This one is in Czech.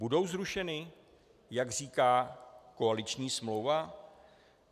Budou zrušeny, jak říká koaliční smlouva?